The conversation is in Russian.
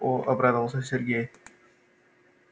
о обрадовался сергей